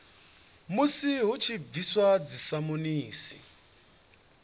musi hu tshi bviswa dzisamonisi